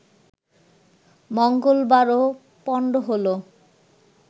মঙ্গলবারও পণ্ড হলো